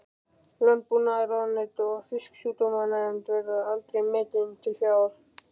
Landbúnaðarráðuneytið og Fisksjúkdómanefnd, verða aldrei metin til fjár.